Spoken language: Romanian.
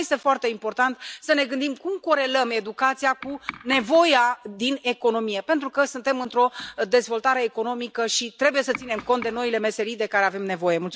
Și mai este foarte important să ne gândim cum corelăm educația cu nevoia din economie, pentru că suntem într o dezvoltare economică și trebuie să ținem cont de noile meserii de care avem nevoie.